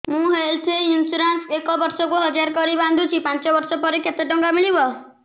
ମୁ health insurance ଏକ ବର୍ଷକୁ ହଜାର କରି ବାନ୍ଧୁଛି ପାଞ୍ଚ ବର୍ଷ ପରେ କେତେ ଟଙ୍କା ମିଳିବ